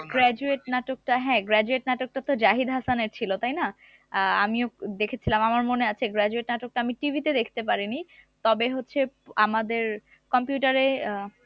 graduate নাটকটা হ্যাঁ graduate নাটকটা তো জাহিদ হাসানের ছিল তাই না আহ আমিও দেখেছিলাম আমার মনে আছে graduate নাটকটা আমি TV তে দেখতে পারিনি তবে হচ্ছে আমাদের computer এ আহ